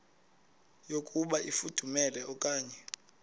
yokuba ifudumele okanye